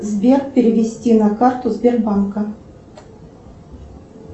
сбер перевести на карту сбербанка